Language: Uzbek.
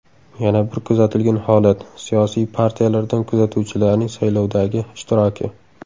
Yana bir kuzatilgan holat, siyosiy partiyalardan kuzatuvchilarning saylovdagi ishtiroki.